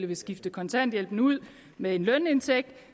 vil skifte kontanthjælpen ud med en lønindtægt